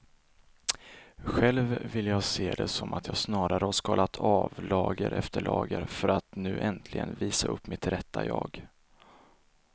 Själv vill jag se det som att jag snarare har skalat av lager efter lager för att nu äntligen visa upp mitt rätta jag.